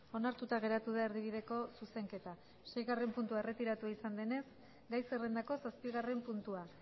onartuta geratu da erdibideko zuzenketa seigarren puntua erretiratua izan denez gai zerrendako zazpigarren puntua